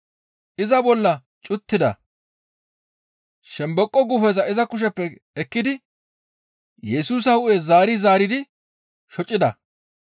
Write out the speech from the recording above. Iza bolla cuttida; shomboqo guufeza iza kusheppe ekkidi Yesusa hu7en zaari zaaridi shocida.